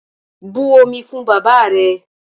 But omi fún bàbáà rẹ!